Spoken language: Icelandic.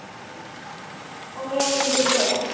Og mér líður vel.